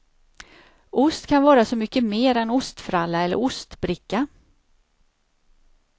Ost kan vara så mycket mer än ostfralla eller ostbricka.